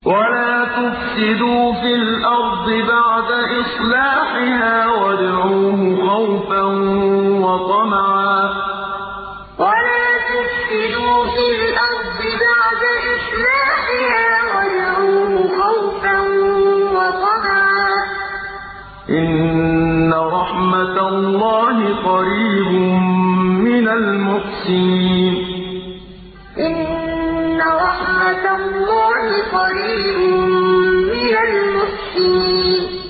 وَلَا تُفْسِدُوا فِي الْأَرْضِ بَعْدَ إِصْلَاحِهَا وَادْعُوهُ خَوْفًا وَطَمَعًا ۚ إِنَّ رَحْمَتَ اللَّهِ قَرِيبٌ مِّنَ الْمُحْسِنِينَ وَلَا تُفْسِدُوا فِي الْأَرْضِ بَعْدَ إِصْلَاحِهَا وَادْعُوهُ خَوْفًا وَطَمَعًا ۚ إِنَّ رَحْمَتَ اللَّهِ قَرِيبٌ مِّنَ الْمُحْسِنِينَ